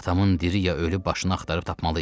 Atamın diri ya ölü başını axtarıb tapmalıyıq.